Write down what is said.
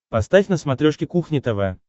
поставь на смотрешке кухня тв